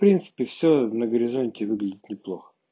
в принципе все на горизонте выглядит неплохо